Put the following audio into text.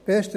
Besten